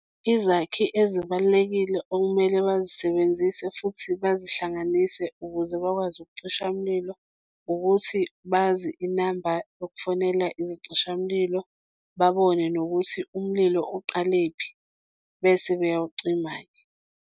Izakhi ezibalulekile okumele bazisebenzise futhi bazi hlanganise, ukuze bakwazi ukucisha umlilo ukuthi bazi inamba yokufonela izicishamlilo babone nokuthi umlilo uqalephi bese beyawucima-ke.